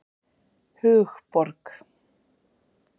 Hugborg